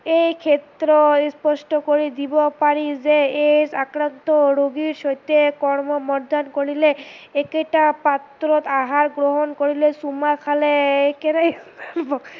এই ক্ষেত্ৰই স্পষ্ট কৰি দিব পাৰি যে AIDS আক্ৰান্ত ৰোগীৰ সৈতে কৰ্ম কৰিলে, একেতা পাত্ৰত আহাৰ গ্ৰহণ কৰিলে, চুমা খালে